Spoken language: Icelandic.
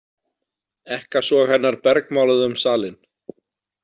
Ekkasog hennar bergmáluðu um salinn.